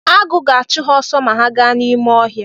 Agụ ga-achụ ha ọsọ ma ha gaa n’ime ọhịa